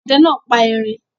Ọdẹ náà pa erin?